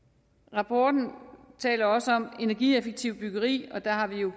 rapporten taler også om energieffektivt byggeri og der har vi jo